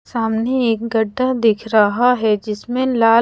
सामने एक गड्ढ दिख रहा है जिसमे लाल--